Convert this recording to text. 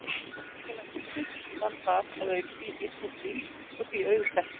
Byggingarlag hússins var þar að auki í þýskum stíl og því auðþekkt.